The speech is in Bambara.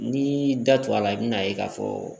N'i da t'o la i bi n'a ye k'a fɔ